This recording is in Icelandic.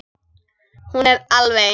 Hún er alveg eins.